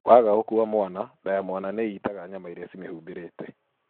Waga gũkua mwana, nda ya mwana nĩ itaga nyama iria cimĩhumbĩrĩte.